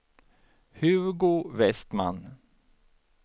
Hugo Westman